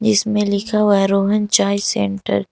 इसमें लिखा हुआ रोहन चाय सेंटर ।